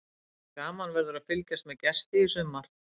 Gaman verður að fylgjast með Gesti í sumar.